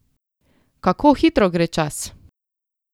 Kako hitro gre čas!